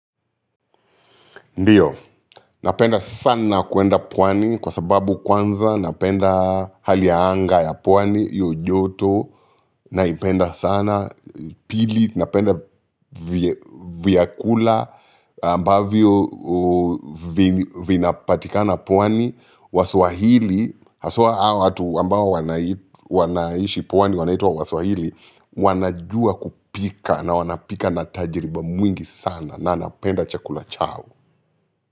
Ndio, napenda sana kuenda pwani kwa sababu kwanza napenda hali ya anga ya pwani, hiyo joto, naipenda sana, pili napenda vyakula ambavyo vinapatikana pwani, waswahili, haswa hawa watu ambao wanaishi pwani wanaitwa waswahili, wanajua kupika na wanapika na tajriba mwingi sana na napenda chakula chao.